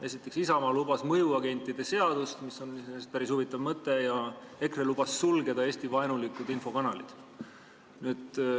Esiteks, Isamaa lubas mõjuagentide seadust, mis on iseenesest päris huvitav mõte, ja EKRE lubas sulgeda Eesti-vaenulikud infokanalid.